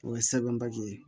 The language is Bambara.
O ye sɛbɛn baji ye